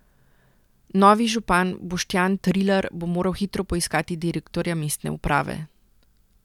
Novi župan Boštjan Trilar bo moral hitro poiskati direktorja mestne uprave.